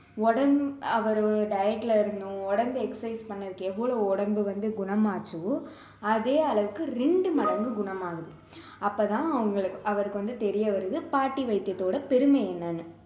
உடம்பு அவரு diet ல இருக்கணும் உடம்பு exercise பண்ணதுக்கு எவ்வளோ உடம்பு வந்து குணம் ஆச்சோ அதே அளவுக்கு இரண்டு மடங்கு குணம் ஆகுது அப்போ தான் அவங்களு~ அவருக்கு வந்து தெரிய வருது பாட்டி வைத்தியத்தோட பெருமை என்னன்னு